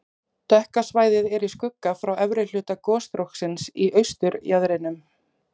Dökka svæðið er í skugga frá efri hluta gosstróksins í austurjaðrinum.